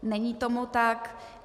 Není tomu tak.